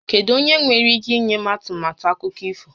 Kedụ onyé nwéré íké inye m ọmụmaatụ akụkọ ifo?